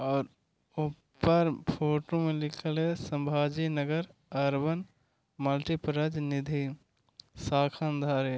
और ऊपर फ़ोटो मे लिखे ले संभाजीनगर अर्बन मल्टीपर्पज निधि शाखा अंधारी।